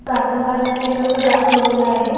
गाणं गात आहे तसं दाखवलेलं आहे.